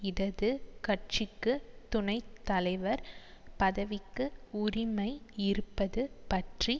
இடது கட்சிக்கு துணை தலைவர் பதவிக்கு உரிமை இருப்பது பற்றி